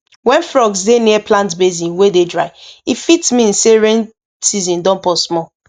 when frogs dey near plant basin wey dey dry e fit mean say rain season don pause small